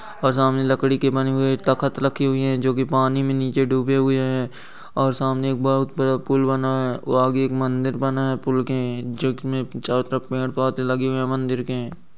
सामने लकड़ी की बनी हुई एक तख्त रखी हुई है जोकि पानी में नीचे डूबी हुई है और सामने एक बहुत बड़ा पूल बना है वहाँ एक मन्दिर बना है लगे हैं मन्दिर के।